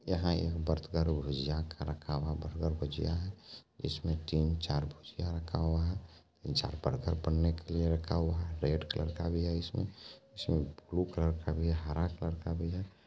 यहाँ हो रही है यहाँ का रखा हुआ बर्गर भुजिया है इसमें तीन चार भुजिया रखा हुआ है तीन चार बर्गर बनने के लिए रखा हुआ है रेड कलर का भी है इसमें इसमें ब्लू कलर का भी है हरा कलर का भी है।